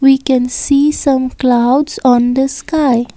we can see some clouds on the sky.